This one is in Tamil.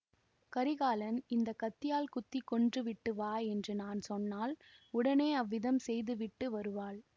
கரிகாலன் இந்த கத்தியால் குத்தி கொன்று விட்டு வா என்று நான் சொன்னால் உடனே அவ்விதம் செய்து விட்டு வருவாள்